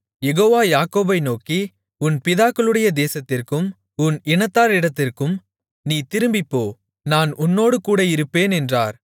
யெகோவா யாக்கோபை நோக்கி உன் பிதாக்களுடைய தேசத்திற்கும் உன் இனத்தாரிடத்திற்கும் நீ திரும்பிப் போ நான் உன்னோடுகூட இருப்பேன் என்றார்